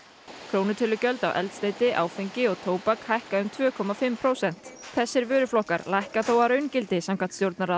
krónutölugjöld á eldsneyti áfengi og tóbak hækka um tvö og hálft prósent þessir vöruflokkar lækka þó að raungildi samkvæmt